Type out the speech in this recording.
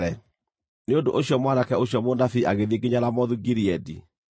Nĩ ũndũ ũcio mwanake ũcio mũnabii agĩthiĩ nginya Ramothu-Gileadi.